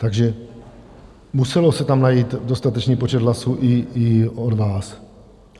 Takže musel se tam najít dostatečný počet hlasů i od vás.